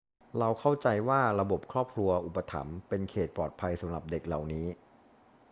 เราเข้าใจว่าระบบครอบครัวอุปถัมภ์เป็นเขตปลอดภัยสำหรับเด็กเหล่านี้